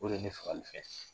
O de ye ne fagalifɛn ye